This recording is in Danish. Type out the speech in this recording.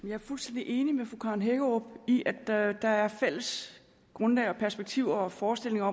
jeg er fuldstændig enig med fru karen hækkerup i at der er fælles grundlag og perspektiver og forestillinger